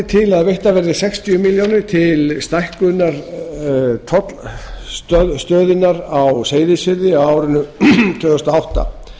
að veittar verði sextíu milljónir króna til stækkunar tollaðstöðunnar á seyðisfirði á árinu tvö þúsund og átta